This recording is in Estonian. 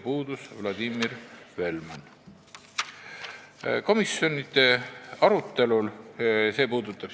Puudus Vladimir Velman.